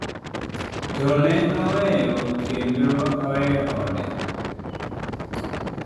"To ne aweyo kendo aweyo ode."""